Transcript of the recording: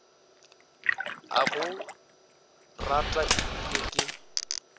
a go rata ebile ke